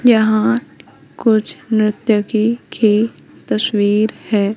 यहां कुछ नृत्यकी की तस्वीर है।